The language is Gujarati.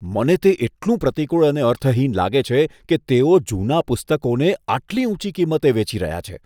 મને તે એટલું પ્રતિકૂળ અને અર્થહીન લાગે છે કે તેઓ જૂના પુસ્તકોને આટલી ઊંચી કિંમતે વેચી રહ્યા છે.